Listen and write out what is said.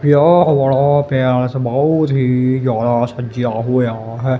ਵਿਆਹ ਵਾਲਾ ਪੈਲੇਸ ਬੋਹੁਤ ਹੀ ਜਿਆਦਾ ਸੱਜੇਆ ਹੋਯਾ ਹੈ।